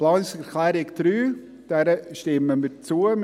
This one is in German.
Der Planungserklärung 3 stimmen wir zu.